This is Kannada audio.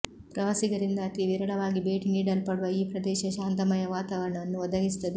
ಪ್ರವಾಸಿಗರಿಂದ ಅತಿ ವಿರಳವಾಗಿ ಭೇಟಿ ನೀಡಲ್ಪಡುವ ಈ ಪ್ರದೇಶ ಶಾಂತಮಯ ವಾತವರಣವನ್ನು ಒದಗಿಸುತ್ತದೆ